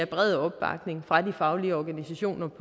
brede opbakning fra de faglige organisationers